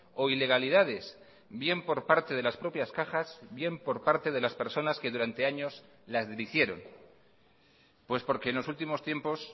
o ilegalidades bien por parte de las propias cajas bien por parte de las personas que durante años las dirigieron pues porque en los últimos tiempos